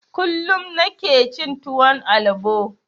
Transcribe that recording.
Kullum nike cin tuwon albo